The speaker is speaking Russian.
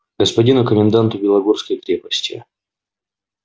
господину коменданту белогорской крепости